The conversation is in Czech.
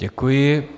Děkuji.